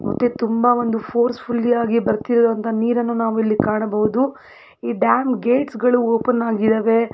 ಮತ್ತೆ ತುಂಬಾ ಒಂದು ಫೋರ್ಸ್ ಫುಲ್ಲಿ ಯಾಗಿ ಬರತ್ತಿರೋವಂತ ನೀರನ್ನು ನಾವು ಇಲ್ಲಿ ಕಾಣಬಹುದು ಈ ಡ್ಯಾಮ್ ಗೇಟ್ಸ್ ಗಳು ಓಪನ್ ಆಗಿದವೆ.